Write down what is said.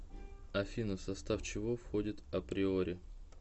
афина в состав чего входит априори